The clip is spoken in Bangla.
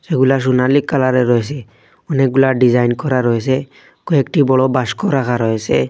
এগুলা সুনালী কালারের রয়েসে অনেকগুলা ডিজাইন করা রয়েসে কয়েকটি বড় বাস্ক রাখা রয়েসে।